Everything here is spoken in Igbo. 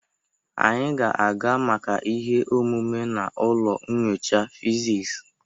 Anyị ga-aga maka ihe omume n'ụlọ nyocha fiziks.